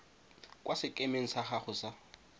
kwa sekemeng sa gago sa